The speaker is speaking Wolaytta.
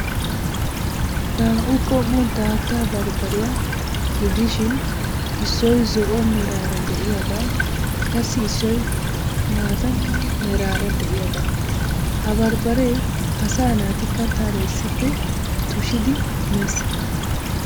Naa"u qommo daatta barbbariya gidishin issoy zo"o meraara de'iyagaa qassi issoy maata meraara de'iyagaa. Ha barbbaree asaa naati kattaara issippe tushidi mees.